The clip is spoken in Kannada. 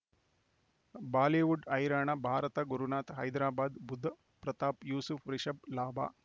ಬಾಲಿವುಡ್ ಹೈರಾಣ ಭಾರತ ಗುರುನಾಥ ಹೈದರಾಬಾದ್ ಬುಧ್ ಪ್ರತಾಪ್ ಯೂಸುಫ್ ರಿಷಬ್ ಲಾಭ